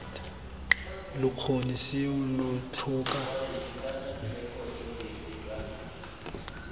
lo kgone seo lo tlhoka